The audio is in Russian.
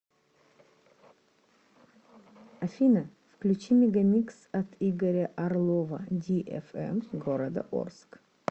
афина включи мегамикс от игоря орлова ди фм города орск